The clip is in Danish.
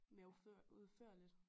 Mere udfør udførligt